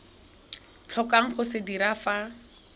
tlhokang go se dira fa